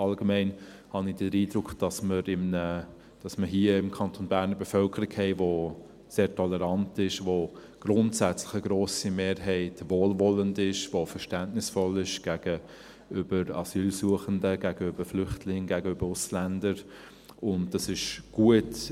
Allgemein habe ich den Eindruck, dass wir hier im Kanton Bern eine Bevölkerung haben, die sehr tolerant ist und grundsätzlich eine grosse Mehrheit wohlwollend ist, verständnisvoll gegenüber Asylsuchenden, gegenüber Flüchtlingen, gegenüber Ausländern, und es ist gut.